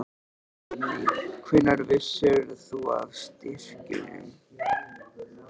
Guðný: Hvenær vissir þú af styrkjunum?